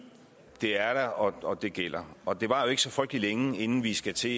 er der og det gælder og det varer jo ikke så frygtelig længe inden vi skal til